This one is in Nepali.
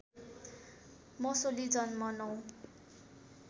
मसोली जन्म ९